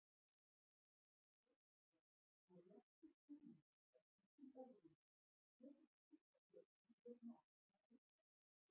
Ljóst er að réttur skilningur á slíkum óróleika getur skipt sköpum við mat á aðstæðum.